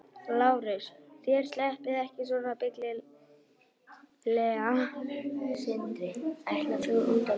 LÁRUS: Þér sleppið ekki svona billega.